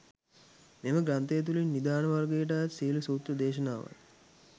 මෙම ග්‍රන්ථය තුළින් නිදාන වර්ගයට අයත් සියලු සූත්‍ර දේශනාවන්